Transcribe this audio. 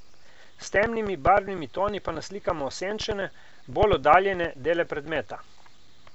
S temnimi barvnimi toni pa naslikamo osenčene, bolj oddaljene dele predmeta.